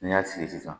N'i y'a fiyɛ sisan